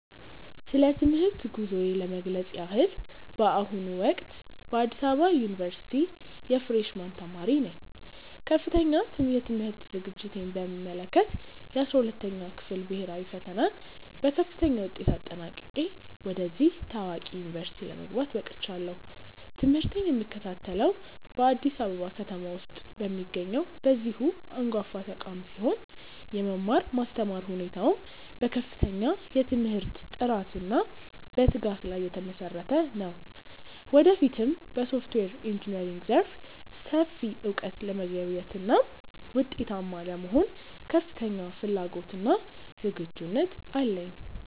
ስለ ትምህርት ጉዞዬ ለመግለጽ ያህል፣ በአሁኑ ወቅት በአዲስ አበባ ዩኒቨርሲቲ የፍሬሽ ማን ተማሪ ነኝ። ከፍተኛ የትምህርት ዝግጅቴን በሚመለከት፣ የ12ኛ ክፍል ብሄራዊ ፈተናን በከፍተኛ ውጤት አጠናቅቄ ወደዚህ ታዋቂ ዩኒቨርሲቲ ለመግባት በቅቻለሁ። ትምህርቴን የምከታተለው በአዲስ አበባ ከተማ ውስጥ በሚገኘው በዚሁ አንጋፋ ተቋም ሲሆን፣ የመማር ማስተማር ሁኔታውም በከፍተኛ የትምህርት ጥራትና በትጋት ላይ የተመሰረተ ነው። ወደፊትም በሶፍትዌር ኢንጂነሪንግ ዘርፍ ሰፊ እውቀት ለመገብየትና ውጤታማ ለመሆን ከፍተኛ ፍላጎትና ዝግጁነት አለኝ።